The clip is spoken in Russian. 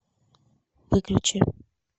выключи